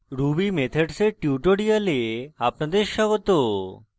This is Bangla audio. ruby methods এর tutorial আপনাদের স্বাগত